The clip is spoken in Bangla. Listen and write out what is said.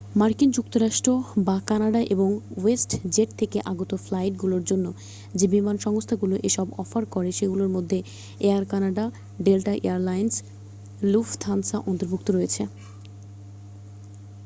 মার্কিন যুক্তরাষ্ট্র বা কানাডা এবং ওয়েস্ট জেট থেকে আগত ফ্লাইটগুলোর জন্য যে বিমান সংস্থাগুলো এসব অফার করে সেগুলোর মধ্যে Air Canada Delta Air Lines Lufthansa অন্তর্ভুক্ত রয়েছে